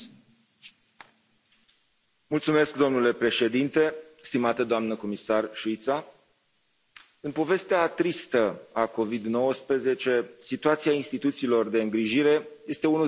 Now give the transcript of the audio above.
Domnule președinte, stimată doamnă comisar Šuica, în povestea tristă a Covid 19, situația instituțiilor de îngrijire este unul dintre cele mai dezastruoase capitole.